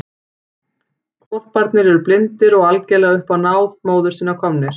Hvolparnir eru blindir og algerlega upp á móður sína komnir.